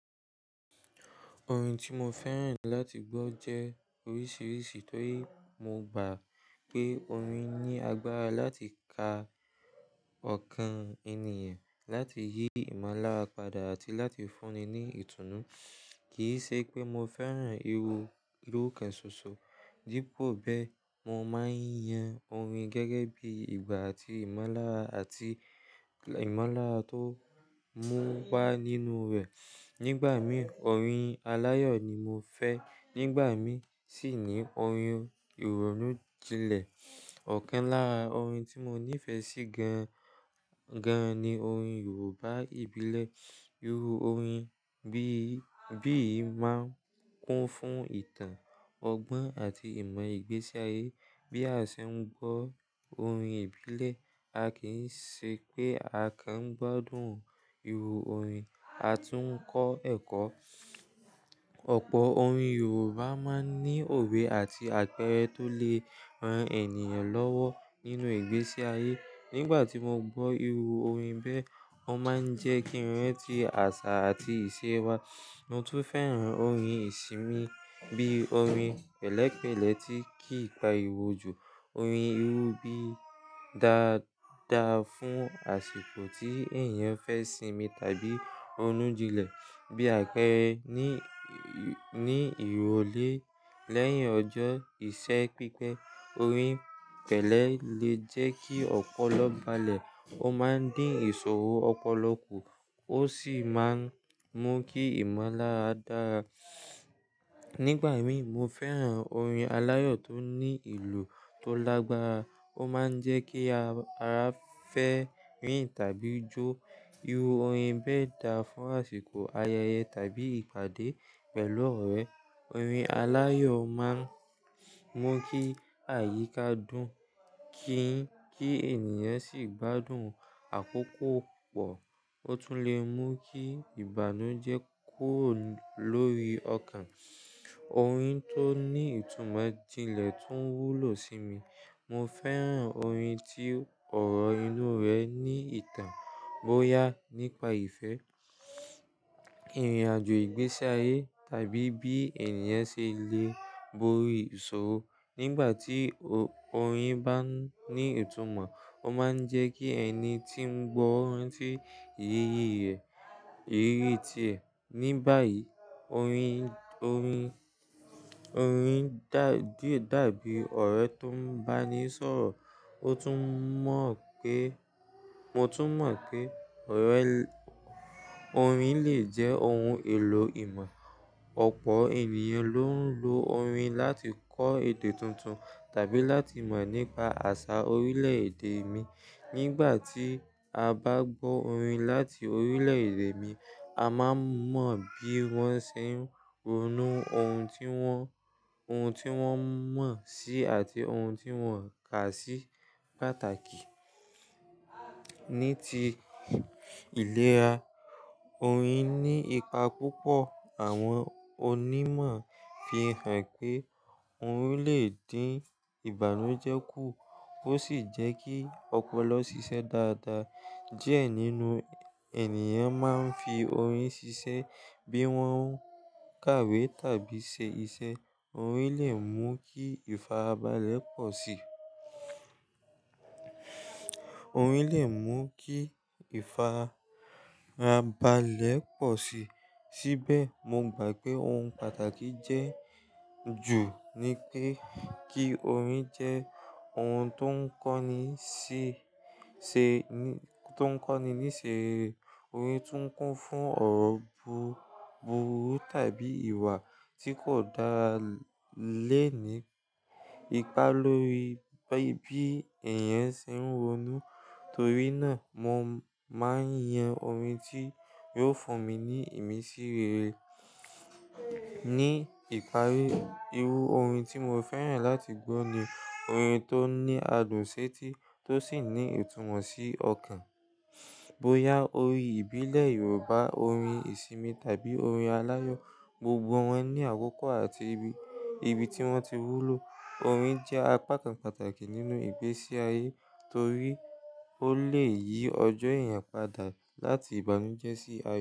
Orin tí mo fẹ́ràn láti gbọ́ jẹ́ oríṣiríṣi torí mo gbà pé orin ní agbára láti ka ọkàn ènìyàn, láti yí ìmọ̀lára padà àti láti fúnni ní ìtùnú. Kì í ṣe pé mo fẹ́ràn irú irú kan ṣoṣo. Díbò bẹ́ẹ̀, mo máa ń yan orin gẹ́gẹ́ bí i ìgbà àti ìmọ̀lára àti ìmọ̀lára tó múpa nínú rẹ̀. Nígbà mìí orin aláyọ̀ ni mo fẹ́, nígbà mìí sì ni orin ìrònú jinlẹ̀. Ọ̀kan lára orin tí mo nífẹ̀ẹ́ sí gan gan ni orin Yorùbá ìbílẹ̀. Irú orin bí bí yìí máa ń kún fún ìtàn, ọgbọ́n àti ìmọ̀ ìgbésí ayé. Bí a ṣe ń gbọ́ orin ìbílẹ̀, a kì í ṣe pé a kàn ń gbádùn irú orin, a tún ń kọ́ ẹ̀kọ́. Ọ̀pọ̀ orin Yorùbá máa ń ní òwe àti àpẹẹrẹ tó lè ran ènìyàn lọ́wọ́ nínú ìgbésí ayé. Nígbà tí mo gbọ́ irú orin bẹ́ẹ̀, ó máa ń jẹ́ kí ìrẹ́ti àṣà àti ìṣe wa, mo tún fẹ́ràn orin ìsinmi bí i orin pẹ̀lẹ́pẹ̀lẹ́ tí ki ipa ìwòjù. Orin irú bí dàda fún àsìkò tí ènìyàn fẹ́ sinmi tàbí ronu jinlẹ̀. Bí àpẹẹrẹ ní ní ìró lé lẹ́yìn ọjọ́ ìṣe pípẹ́, orin pẹ̀lẹ́ lè jẹ́ kí ọpọlọ balẹ̀. Ó máa ń dín ìṣòro ọpọlọ kù, ó sì máa ń mú kí ìmọ̀lára dáa. Nígbà mìí mo fẹ́ràn orin aláyọ̀ tó ní ìlù tó lágbára. Ó máa ń jẹ́ kí ara fẹ́ rìn tàbí jó. Irú orin bẹ́ẹ̀ dà fún àsìkò ayẹyẹ tàbí ìpàdé pẹ̀lú ọ̀rẹ́. Orin aláyọ̀ máa ń mú kí àyíká dùn kí kí ènìyàn sì gbádùn àkókò pọ̀. Ó tún lè mú kí ìbànújẹ́ kùro lórí ọkàn. Orin tó ní ìtumọ̀ jinlẹ̀ tún wúlò sí mi. Mo fẹ́ràn orin tí ọ̀rọ̀ inú rẹ̀ ní ìtàn, bóyá nípa ìfẹ́, ìrìnàjò ìgbésí ayé tàbí bí ènìyàn ṣe le borí ìṣòro. Nígbà tí orin bá ní ìtumọ̀, ó máa ń jẹ́ kí ẹni tí ń gbọ́ orin sì yiyí ẹ̀, ìrírí ti ẹ. Ní báyìí, orin orin orin dàbí ọ̀rẹ́ tó ń bá ni sọ̀rọ̀. Ó tún mọ̀ pé mo tún mọ̀ pé ọ̀rẹ́ orin lè jẹ́ oun èlò ìmọ̀. Ọ̀pọ̀ ènìyàn ló ń lo orin láti kọ́ èdè tuntun tàbí láti mọ̀ nípa àṣà orílẹ̀-èdè mi. Nígbà tí a bá gbọ́ orin láti orílẹ̀-èdè mi, a máa mọ̀ bí wọ́n ṣe ń ronú, oun tí wọ́n oun tí wọ́n mọ̀ sí àti oun tí wọ́n kà sí pàtàkì. Ní ti ìlera, orin ní ipa púpọ̀. Àwọn onímọ̀ fi hàn pé orin lè dín ìbànújẹ́ kù ó sì jẹ́ kí ọpọlọ ṣiṣẹ́ dáadáa. Diẹ nínú ènìyàn máa ń fi orin ṣiṣẹ́ bí wọ́n ń kàwé tàbí ṣe iṣẹ́. Orin lè mú kí ìfarabalẹ̀ pọ̀ sí. Orin lè mú kí ìfarabalẹ̀ pọ̀ sí. Síbẹ̀ mo gbà pé oun pàtàkì jẹ́ jù ni pé kí orin jẹ́ oun tó ń kọ́ni níṣe ṣe ni tó ń kọ́ni níṣe rere. Orin tún kún fún ọ̀rọ̀ bú burú tàbí ìwà tí kò dá lé ní ipa lórí bí ènìyàn ṣe ń ronú. Torí náà mo máa ń yan orin tí yóò fún mi ní ìmísìrere. Ní ìparí, irú orin tí mo fẹ́ràn láti gbọ́ ni orin tó ní adùn ṣẹ́ti tó sì ní ìtumọ̀ sí ọkàn. Bóyá orin ìbílẹ̀ Yorùbá, orin ìsinmi tàbí orin aláyọ̀, gbogbo wọn ní àkókò àti ibi ibi tí wọ́n ti wúlò. Orin jẹ́ apakan pàtàkì nínú ìgbésí ayé torí ó lè yí ọjọ́ èèyàn padà láti ìbànújẹ́ sí àyo.